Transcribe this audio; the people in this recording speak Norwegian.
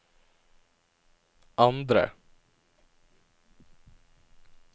andre